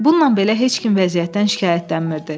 Bununla belə heç kim vəziyyətdən şikayətlənmirdi.